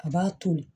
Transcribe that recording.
A b'a toli